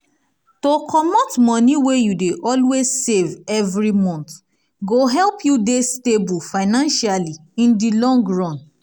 to comot moni wey you dey always save every month go help you dey stable financially in di long run